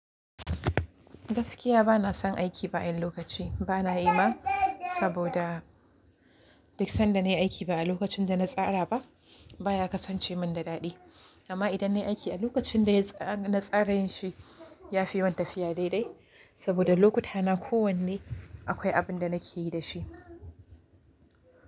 Gaskiya bana son aiki bayan lokaci bana yi ma, saboda duk sanda nayi aiki ba a lokacin da na tsara ba baya kasance min da daɗi. Amma idan nayi aiki a lokacin da na tsara yin shi yafi yawan tafiya daidai, saboda lokuta na kowanne akwai abin da nake yi da shi.